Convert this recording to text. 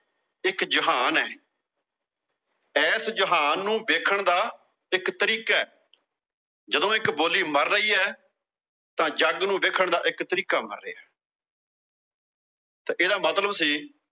ਇੱਕ ਜਹਾਨ ਆ। ਐਸ ਜਹਾਨ ਨੂੰ ਦੇਖਣ ਦਾ ਇੱਕ ਤਰੀਕਾ। ਜਦੋਂ ਇੱਕ ਬੋਲੀ ਮਰ ਰਹੀ ਆ, ਤਾਂ ਜੱਗ ਨੂੰ ਦੇਖਣ ਦਾ ਇੱਕ ਤਰੀਕਾ ਮਰ ਰਿਹਾ ਤਾਂ ਇਹਦਾ ਮਤਲਬ ਸੀ